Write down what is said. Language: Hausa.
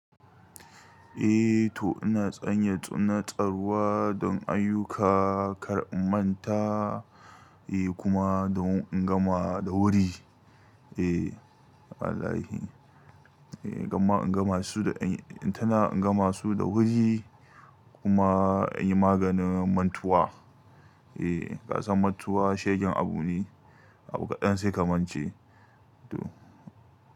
Eh to ina tsanya tsune tsaruwa don ayyuka kar in manta, eh kuma don in gama da wuri. Eh Allahahi, eh gama in gama su da, in tana in gama su da wuri kuma in yi maganin mantuwa. Eh kasan mantuwa shegen abu ne, abu kaɗan sai ka mance toh.